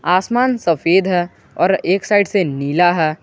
आसमान सफेद है और एक साइड से नीला है।